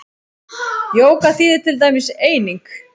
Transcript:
Jóga þýðir til dæmis eining.